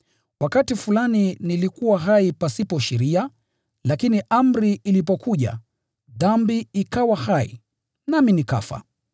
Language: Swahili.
Wakati fulani nilikuwa hai pasipo sheria, lakini amri ilipokuja, dhambi ikawa hai, nami nikafa.